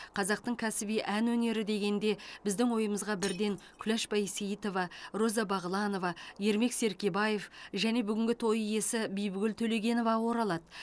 қазақтың кәсіби ән өнері дегенде біздің ойымызға бірден күләш байсейтова роза бағланова ермек серкебаев және бүгінгі той иесі бибігүл төлегенова оралады